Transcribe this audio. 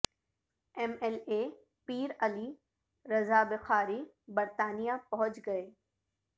M L A Pir Ali رضابخاری برطانیہ پہنچ گئے